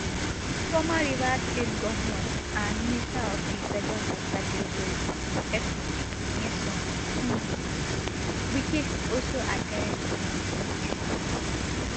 former rivers state govnor and minister of di federal capital territory fct nyesom um wike also at ten d um di meeting